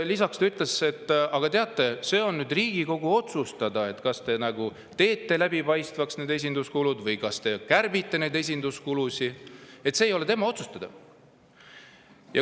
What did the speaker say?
Lisaks ütles ta, et, aga teate, see on nüüd Riigikogu otsustada, kas teha need esinduskulud läbipaistvaks või kärpida neid, see ei ole tema otsustada.